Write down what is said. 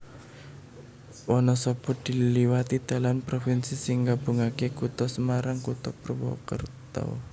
Wanasaba diliwati dalan propinsi sing nggabungaké Kutha Semarang Kutha Purwakerta